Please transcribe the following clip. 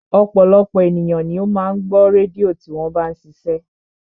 Ọ̀pọ̀lọpọ̀ ènìyàn ni ó máa ń gbọ́ rédíò tí wọ́n bá ń ṣiṣẹ́